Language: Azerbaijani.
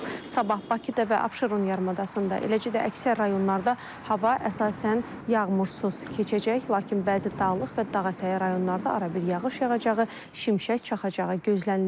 Sabah Bakıda və Abşeron yarımadasında, eləcə də əksər rayonlarda hava əsasən yağmursuz keçəcək, lakin bəzi dağlıq və dağətəyi rayonlarda arabir yağış yağacağı, şimşək çaxacağı gözlənilir.